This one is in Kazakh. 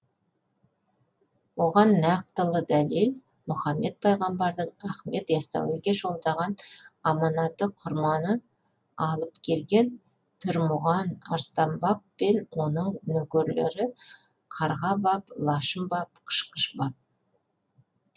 оған нақтылы дәлел мұхаммед пайғамбардың ахмет ясауиге жолдаған аманаты құрманы алып келген пірмұған арыстан баб пен оның нөкерлері қарға баб лашын баб қышқыш баб